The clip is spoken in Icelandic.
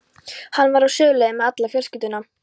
Hann var á suðurleið með alla fjölskylduna.